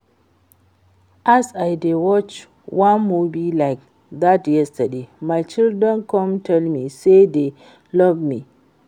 As I dey watch wan movie like dat yesterday my children come tell me say dey love me